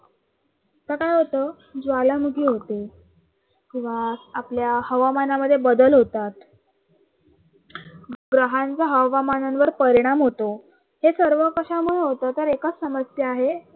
मग काय होतं, ज्वालामुखी होते किंवा आपल्या हवामानामध्ये बदल होतात, ग्रहांचा हवामानावर परिणाम होतो. हे सर्व कशामुळे होतं, तर एकच समस्या आहे